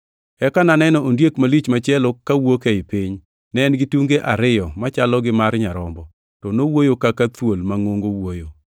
Eka naneno ondiek malich machielo kawuok ei piny. Ne en gi tunge ariyo machalo gi mar nyarombo, to nowuoyo kaka thuol mangʼongo wuoyo.